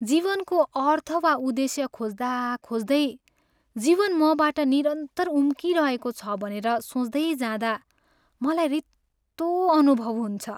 जीवनको अर्थ वा उद्देश्य खोज्दा खोज्दै जीवन मबाट निरन्तर उम्किरहेको छ भनेर सोच्दैँजाँदा मलाई रित्तो अनुभव हुन्छ।